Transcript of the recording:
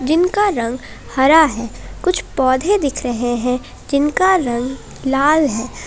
जिनका रंग हरा है कुछ पौधे दिख रहे हैं जिनका रंग लाल है।